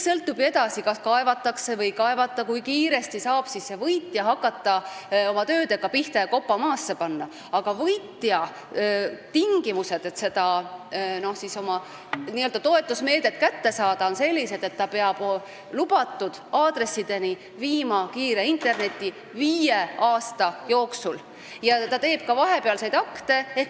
See, kui kiiresti saab võitja töödega pihta hakata ja kopa maasse lüüa, sõltub sellest, kas otsus kaevatakse edasi või ei, aga tingimused, et võitja oma n-ö toetusmeetme kätte saaks, on sellised, et ta peab nendel aadressidel rajama kiire internetiühenduse viie aasta jooksul ja ta peab tegema ka vahepealseid akte.